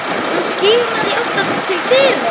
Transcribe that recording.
Hann skimaði í átt til dyra.